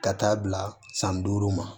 Ka taa bila san duuru ma